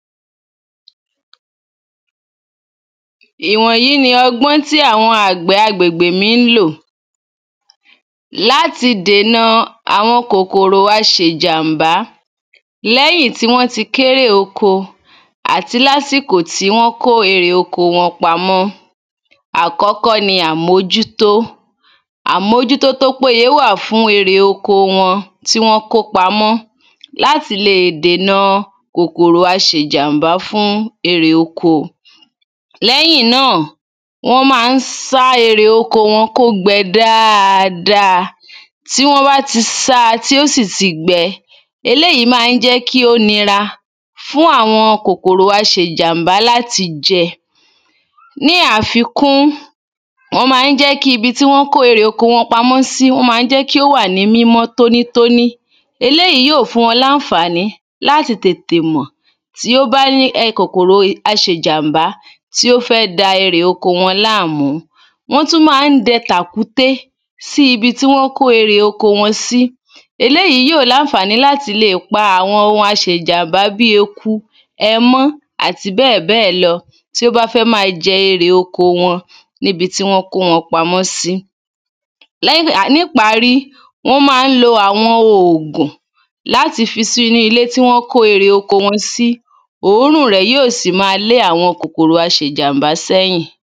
Ìwọ̀nyí ni ọgbọ́n tí àwọ́n àgbẹ̀ agbègbè mi ń lò láti dèna àwọn kòkòrò aṣèjàm̀bá lẹ́yìn tí wọ́n ti kérè oko àti lásìkò tí wọ́n kó erè oko wọn pamọ́. Àkọ́kọ́ ni àmójútó àmójútó tó péyé wà fún erè oko wọn tí wọ́n kó pamọ́ láti le dèna kòkòrò aṣèjàm̀bá fún erè oko. Lẹ́yìn náà wọ́n má ń sá erè oko wọn kó gbẹ dáada. Tí wọn bá ti sá tí ó sì ti gbẹ eléèyí má ń jẹ́ kí ó nira fún àwọn kòkòrò aṣèjàm̀bá láti jẹ. Ní àfikún wọ́n má ń jẹ́ kí ibi tí wọ́n kó erè oko wọn pamọ́ sí wọ́n má ń jẹ́ kí ó wà ní mímọ́ mímọ́ tóní tóní. Eléèyí yó fún wa lánfàní láti tètè mọ̀ tí ó bá ní ẹ̀ kòkòrò aṣèjàm̀bá tí ó fẹ́ da erè oko wọn láàmú. Wọ́n tún má ń dẹ tàkúté sí ibi tí wọ́n bá kó erè oko sí eléèyí yóò lánfàní láti le pa àwọn ohun aṣèjàm̀bá bí eku ẹmọ́ àti bẹ́ẹ̀ bẹ́ẹ̀ lọ tí ó bá fẹ́ má jẹ erè oko wọn níbi tí wọn kó wọn pamọ́ sí. Lẹ́yìn ìgbà níparí wọ́n má ń lo àwọn òògùn láti fi síú ilé tí wọn kó erè oko wọn sí òórún rẹ̀ yóò sì má lé àwọn kòkòrò aṣèjàm̀bá sẹ́yìn.